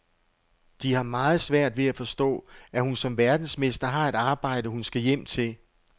De har meget svært ved at forstå, at hun som verdensmester har et arbejde, hun skal hjem til.